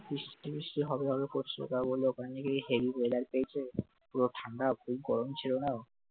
বৃষ্টি-মিষ্টি হবে বলে বলে ওখানে নাকি heavy মেয়াদের পেয়েছে পুরো ঠান্ডা খুব গরম ছিল না